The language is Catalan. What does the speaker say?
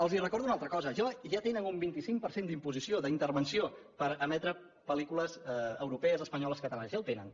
els recordo una altra cosa ja tenen un vint cinc per cent d’imposició d’intervenció per emetre pel·lícules europees espanyoles catalanes ja el tenen